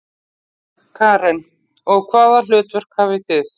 Karen: Og hvaða hlutverk hafið þið?